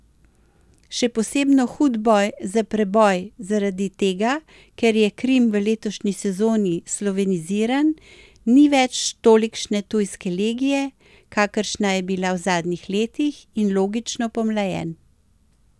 Še posebno hud boj za preboj zaradi tega, ker je Krim v letošnji sezoni sloveniziran, ni več tolikšne tujske legije, kakršna je bila v zadnjih letih, in logično pomlajen.